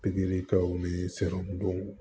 Pikiri kɛw ni don